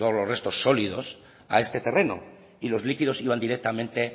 los restos sólidos a este terreno y los líquidos iban directamente